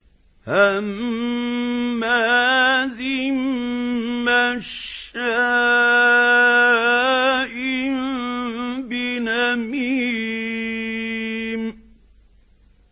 هَمَّازٍ مَّشَّاءٍ بِنَمِيمٍ